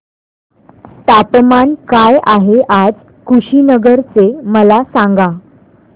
तापमान काय आहे आज कुशीनगर चे मला सांगा